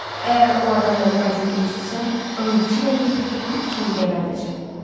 Əgər o adam mənim bacımı incitsə, and içirəm ki, tapıb it kimi gəbərdəcəm.